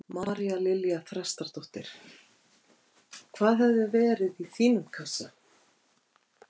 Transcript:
María Lilja Þrastardóttir: Hvað hefði verið í þínum kassa?